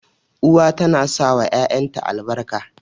Uwa tana sawa ƴaƴanta albarka.